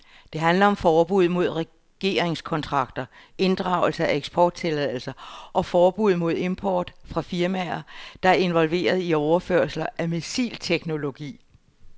Det handler om forbud mod regeringskontakter, inddragelse af eksporttilladelser og forbud mod import fra firmaer, der er involveret i overførelser af missilteknologi.